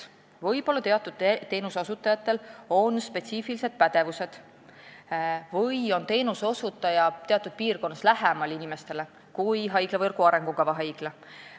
Võib-olla on teatud teenuseosutajatel spetsiifilised pädevused või on teenuseosutaja mõnes piirkonnas inimestele lähemal kui haiglavõrgu arengukava haigla.